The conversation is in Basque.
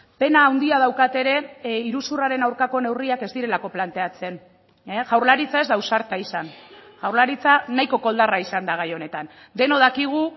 pena handia daukat ere iruzurraren aurkako neurriak ez direlako planteatzen jaurlaritza ez da ausarta izan jaurlaritza nahiko koldarra izan da gai honetan denok dakigu